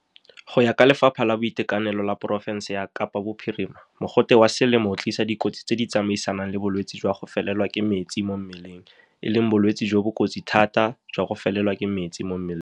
Go ya ka Lefapha la Boitekanelo la porofense ya Kapa Bophirima, mogote wa selemo o tlisa dikotsi tse di tsamaisanang le bolwetse jwa go felelwa ke metsi mo mmeleng, e leng bolwetse jo bo kotsi thata jwa go felelwa ke metsi mo mmeleng.